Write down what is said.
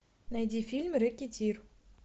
найди фильм рэкетир